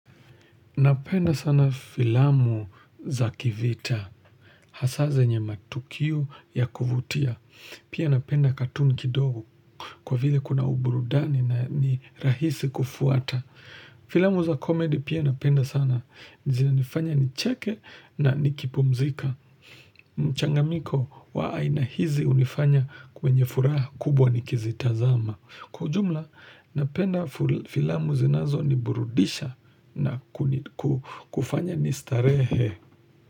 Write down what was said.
Napenda sana filamu za kivita, hasa zenye matukio ya kuvutia. Pia napenda katun kidogo kwa vile kuna uburudani na ni rahisi kufuata. Filamu za komedi pia napenda sana. Zinanifanya nicheke na nikipumzika. Mchangamiko wa aina hizi unifanya kwenye furaha kubwa nikizitazama. Kwa ujumla, napenda filamu zinazoniburudisha na kufanya nistarehe.